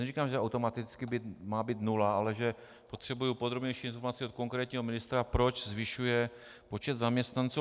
Neříkám, že automaticky má být nula, ale že potřebuji podrobnější informaci od konkrétního ministra, proč zvyšuje počet zaměstnanců.